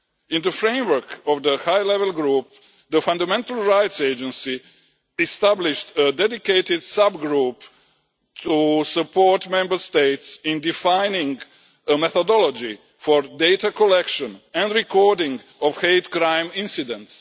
In the framework of the high level group, the Fundamental Rights Agency established a dedicated sub group to support Member States in defining a methodology for data collection and recording of hate crime incidents.